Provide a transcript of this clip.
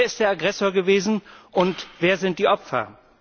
Wer ist der Aggressor gewesen, und wer sind die Opfer?